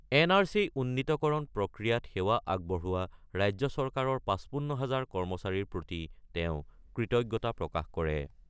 N R C উন্নীতকৰণ প্ৰক্ৰিয়াত সেৱা আগবঢ়োৱা ৰাজ্য চৰকাৰৰ ৫৫ হাজাৰ কৰ্মচাৰীৰ প্ৰতি তেওঁ কৃতজ্ঞতা প্ৰকাশ কৰে।